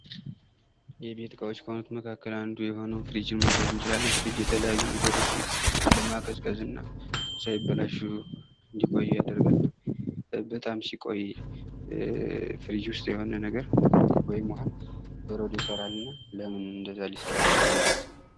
የቤት እቃዎች መካከል አንዱ የሆነው ፍሪጅ መውሰድ እንችላለን የተለያዩ ነገሮችን ለማቀዝቀዝ እና ሳይበላሹ እንዲቆዩ ያደርጋል በጣም ሲቆይ ፍሪጅ የሆነ ነገር ወይም ውሃ በረዶ ይሰራል ለምን እንደዛሊሰራ ቻለ